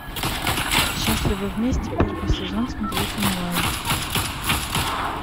счастливы вместе первый сезон смотреть онлайн